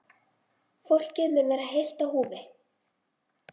Fólkið mun vera heilt á húfi